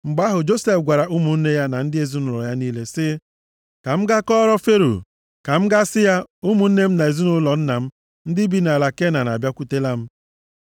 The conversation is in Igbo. Mgbe ahụ, Josef gwara ụmụnne ya na ndị ezinaụlọ nna ya niile sị, “Ka m gaa kọọrọ Fero. Ka m gaa sị ya, ‘Ụmụnne m na ezinaụlọ nna m, ndị bi nʼala Kenan abịakwutela m.